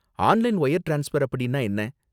Online wire transfer அப்படின்னா என்ன?